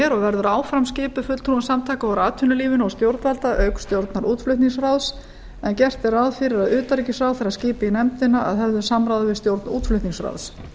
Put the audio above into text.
er og verður áfram skipuð fulltrúum samtaka úr atvinnulífinu og stjórnvalda auk stjórnar útflutningsráðs en gert er ráð fyrir að utanríkisráðherra skipi í nefndina að höfðu samráði við stjórn útflutningsráðs